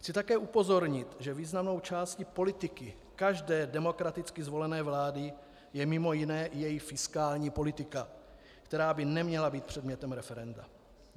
Chci také upozornit, že významnou částí politiky každé demokraticky zvolené vlády je mimo jiné její fiskální politika, která by neměla být předmětem referenda.